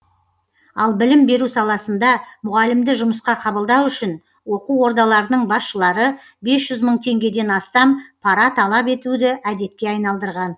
ал білім беру саласында мұғалімді жұмысқа қабылдау үшін оқу ордаларының басшылары бес жүз мың теңгеден астам пара талап етуді әдетке айналдырған